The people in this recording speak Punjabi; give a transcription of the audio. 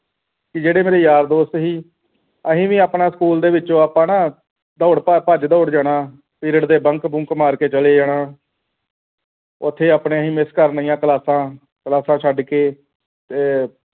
ਤੇ ਜਿਹੜੇ ਯਾਰ ਦੋਸਤ ਸੀ ਅਸੀਂ ਵੀ ਆਪਣਾ ਸਕੂਲ ਦੇ ਵਿੱਚੋਂ ਆਪਾਂ ਨਾਂ ਦੌੜ-ਭੱਜ ਭੱਜ ਦੌੜ ਜਾਣਾ period ਦੇ bank bunk ਮਾਰ ਕੇ ਚਲੇ ਜਾਣਾ ਉੱਥੇ ਆਪਣੇ ਹੀ miss ਕਰਨੀਆਂ ਕਲਾਸਾਂ ਕਲਾਸਾਂ ਛੱਡ ਕੇ ਤੇ